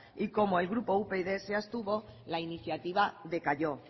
y como el grupo upyd se abstuvo la iniciativa decayó